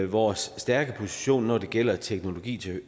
vores stærke position når det gælder teknologi